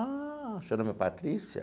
Ah, seu nome é Patrícia?